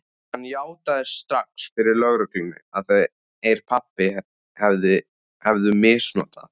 Hann játaði strax fyrir lögreglunni að þeir pabbi hefðu misnotað